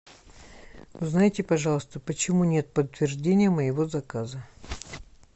узнайте пожалуйста почему нет подтверждения моего заказа